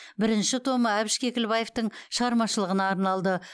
бірінші томы әбіш кекілбаевтың шығармашылығына арналды